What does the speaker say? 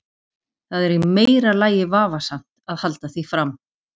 Það er í meira lagi vafasamt að halda því fram.